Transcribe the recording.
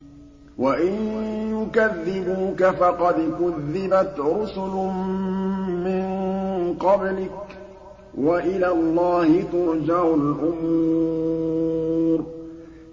وَإِن يُكَذِّبُوكَ فَقَدْ كُذِّبَتْ رُسُلٌ مِّن قَبْلِكَ ۚ وَإِلَى اللَّهِ تُرْجَعُ الْأُمُورُ